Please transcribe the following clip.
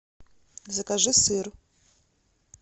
закажи сыр